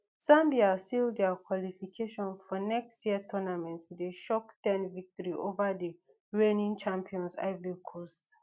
zambia seal dia qualification for next year tournament wit a shock ten victory ova di reigning champions ivory coast